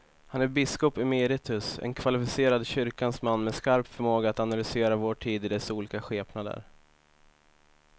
Han är biskop emeritus, en kvalificerad kyrkans man med skarp förmåga att analysera vår tid i dess olika skepnader.